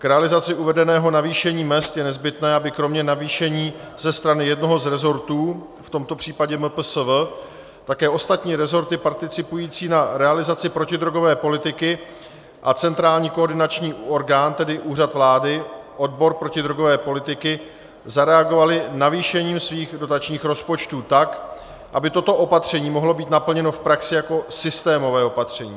K realizaci uvedeného navýšení mezd je nezbytné, aby kromě navýšení ze strany jednoho z resortů, v tomto případě MPSV, také ostatní resorty participující na realizaci protidrogové politiky a centrální koordinační orgán, tedy Úřad vlády, odbor protidrogové politiky, zareagovaly navýšením svých dotačních rozpočtů tak, aby toto opatření mohlo být naplněno v praxi jako systémové opatření.